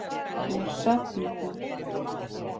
Úr safni ÞÁ.